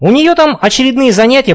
у нее там очередные занятия